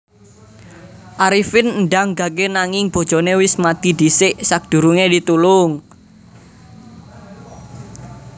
Arifin ndang gage nanging bojone wis mati dhisik sakdurunge ditulung